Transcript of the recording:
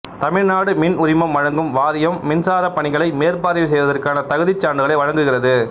தமிழ்நாடு மின் உரிமம் வழங்கும் வாரியம் மின்சாரப் பணிகளை மேற்பார்வை செய்வதற்கான தகுதிச் சான்றுகளை வழங்குகிறது